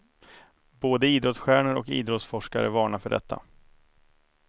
Både idrottsstjärnor och idrottsforskare varnar för detta.